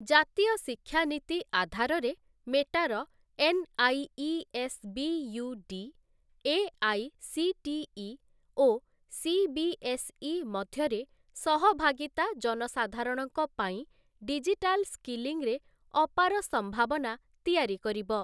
ଜାତୀୟ ଶିକ୍ଷା ନୀତି ଆଧାରରେ ମେଟାର ଏନ୍ଆଇଇଏୟୁଡି, ଏଆଇସିଟିଇ ଓ ସିବିଏସ୍ଇ ମଧ୍ୟରେ ସହଭାଗୀତା ଜନସାଧାରଣଙ୍କ ପାଇଁ ଡିଜିଟାଲ ସ୍କିଲିଂରେ ଅପାର ସମ୍ଭାବନା ତିଆରି କରିବ ।